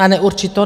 Na neurčito!